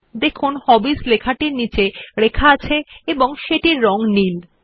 দেখুন হবিস লেখাটি নিম্নরেখাঙ্কিত এবং সেটির রং নীল